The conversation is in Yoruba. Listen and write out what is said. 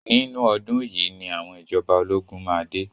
Nínú ọdún yìí ni àwọn ìjọba ológun máa dé.